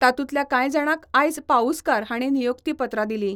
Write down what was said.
तातुंतल्या काय जाणांक आयज पाउस्कार हाणी नियुक्तीपत्रा दिली.